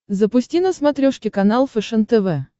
запусти на смотрешке канал фэшен тв